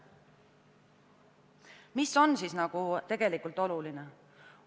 Mis on siis tegelikult oluline?